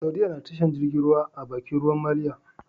Saudiya nada tashar jirgin ruwa a Bakin ruwan maliya